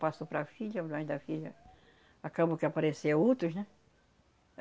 Passou para a filha da filha... Acabou que apareceu outros, né?